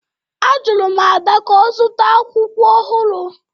Ajụrụ m Ada ka ọ zụta akwụkwọ ọhụrụ